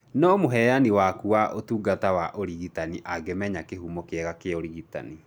No mũheani waku wa ũtungata wa ũrigitani angĩmenya kĩhumo kĩega kĩa ũrigitani